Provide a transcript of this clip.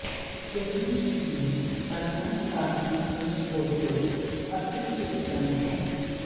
यदि इसमें प्रकंद का भी अंश हो तो अति उत्तम है